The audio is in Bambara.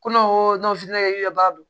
Ko ne ko n ka ka baara don